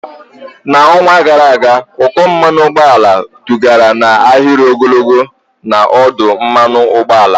N'ọnwa gara aga, ụkọ mmanụ ụgbọala dugara n'ahịrị ogologo n'ọdụ mmanụ ụgbọala.